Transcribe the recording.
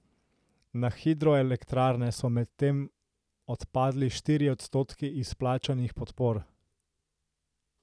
Na hidroelektrarne so medtem odpadli štirje odstotki izplačanih podpor.